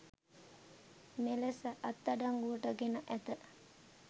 මෙලෙස අත්අඩංගුවට ගෙන ඇත